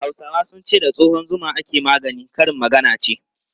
Hausawa sun ce 'da tsohon zuma ake magani', karin magana ce.